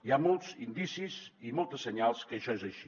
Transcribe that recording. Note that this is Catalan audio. hi ha molts indicis i molts senyals que això és així